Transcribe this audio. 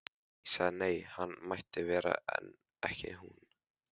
Ég sagði nei, hann mætti vera en ekki hún.